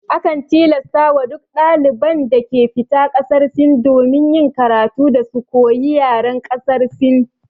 Akan tilasta wa duk daliban da ke fita ƙasar Sin domin yin karatu, da su koyi yaren ƙasar Sin